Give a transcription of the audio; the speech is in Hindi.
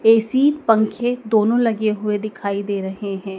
ए_सी पंखे दोनों लगे हुए दिखाई दे रहे हैं।